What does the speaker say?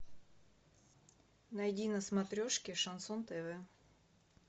найди на смотрешке шансон тв